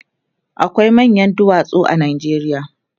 akwai manyan duwatsu a Najeriya